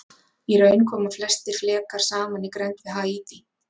Í raun koma nokkrir flekar saman í grennd við Haítí.